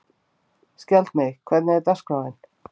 Skjaldmey, hvernig er dagskráin?